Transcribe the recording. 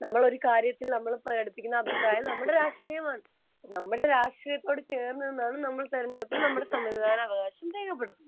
നമ്മൾ ഒരു കാര്യത്തിൽ നമ്മൾ പ്രകടിപ്പിക്കുന്ന അഭിപ്രായം നമ്മുടെ രാഷ്ട്രീയമാണ് നമ്മുടെ രാഷ്ട്രീയത്തോട് ചേർന്ന് നിന്നാണ് നമ്മൾ തെരഞ്ഞെടുപ്പിൽ സമ്മതിദാനാവകാശം രേഖപ്പെടുത്തുന്നത്